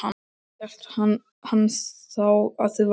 Hélt hann þá að þið vær